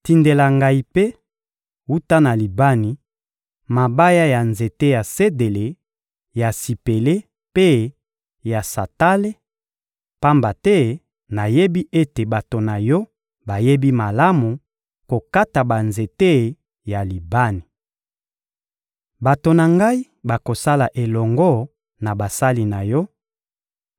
Tindela ngai mpe, wuta na Libani, mabaya ya nzete ya sedele, ya sipele mpe ya santale, pamba te nayebi ete bato na yo bayebi malamu kokata banzete ya Libani. Bato na ngai bakosala elongo na basali na yo,